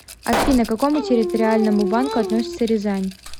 афина к какому территориальному банку относится рязань